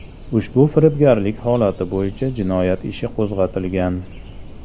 Ushbu firibgarlik holati bo‘yicha jinoyat ishi qo‘zg‘atilgan.